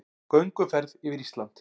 Gönguferð yfir Ísland